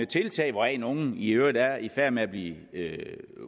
tiltag hvoraf nogle i øvrigt er i færd med at blive